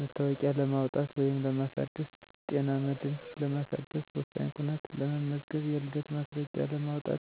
መታወቂያ ለማውጣት(ለማሳደስ)፣ጤና መድን ለማደስ፣ ወሳኝ ኩነት ለመመዝገብ የልደት ማስረጃ ለማውጣት፣